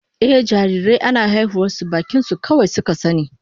Ehh, jarirai ana haihuwar su bakin su kawai suka sani